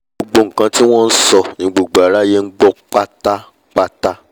gbogbo nkan tí wọ́n nsọ ni gbogbo aráyé ngbọ́ pátápátá